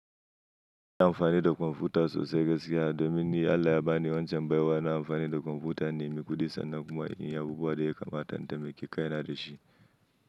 Ina amfani da kwamfuta sosai gaskiya domin ni Allah ya ba ni wancan baiwa na amfani da kwamfuta, na nemi ƙudi sannan kuma in yi abubuwan da ya kamata intaimaki kai na da shi.